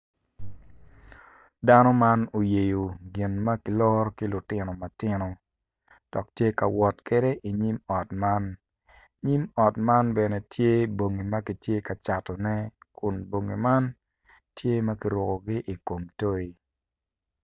Dano man oyeyo gin ma kiloro ki lutino matino dok tye ka wot kwede i nyim ot man nyim ot man bene tye bongi ma kitye ka catone kun bongi man tye ma kirukogi i kom toi.